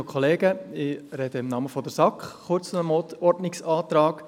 Ich spreche im Namen der SAK kurz zu diesem Ordnungsantrag.